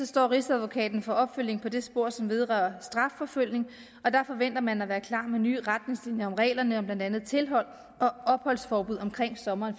står rigsadvokaten for opfølgning på det spor som vedrører strafforfølgning og der forventer man at være klar med nye retningslinjer om reglerne om blandt andet tilhold og opholdsforbud omkring sommeren